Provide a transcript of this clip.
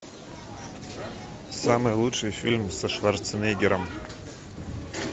самый лучший фильм со шварценеггером